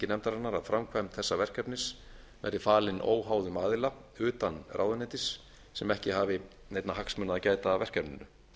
nefndarinnar að framkvæmd þessa verkefnis sé falin óháðum aðila utan ráðuneytis sem ekki hafi neinna hagsmuna að gæta að verkefninu